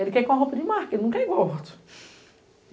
Ele quer ir com a roupa de marca, ele não quer igual ao outro.